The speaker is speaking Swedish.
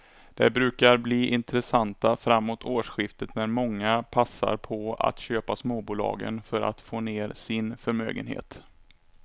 De brukar bli intressanta framåt årsskiftet när många passar på att köpa småbolagen för att få ner sin förmögenhet.